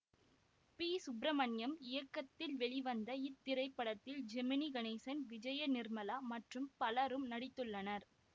B Subramaniam இயக்கத்தில் வெளிவந்த இத்திரைப்படத்தில் ஜெமினி கணேசன் விஜயநிர்மலா மற்றும் பலரும் நடித்துள்ளனர்